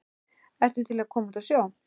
ertu til í að koma út á sjó?